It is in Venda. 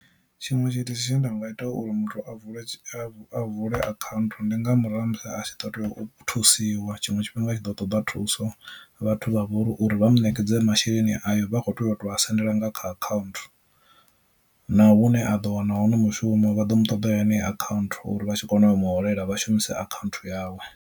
Tshiṅwe tshithu tshine nda nga ita uri muthu a vule a vule akhaunthu ndi nga murahu ha musi a tshi ḓo tea u thusiwa tshiṅwe tshifhinga a tshi ḓo ṱoḓa thuso vhathu vha vhori uri vha mu nekedze masheleni ayo vha kho tea u tou a sendela nga kha akhaunthu, na hune a ḓo wana hone mushumo vha ḓo mu ṱoḓa yone akhaunthu uri vha tshi kona u mu holela vha shumise akhaunthu yawe.